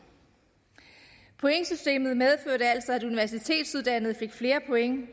pointsystemet medførte altså at universitetsuddannede fik flere point